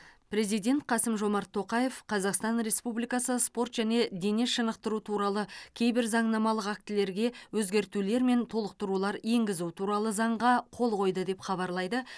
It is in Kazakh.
президент қасым жомарт тоқаев қазақстан республикасы спорт және дене шынықтыру туралы кейбір заңнамалық актілерге өзгертулер мен толықтырулар енгізу туралы заңға қол қойды деп хабарлайды